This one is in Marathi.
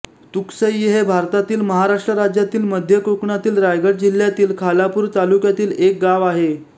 तुकसई हे भारतातील महाराष्ट्र राज्यातील मध्य कोकणातील रायगड जिल्ह्यातील खालापूर तालुक्यातील एक गाव आहे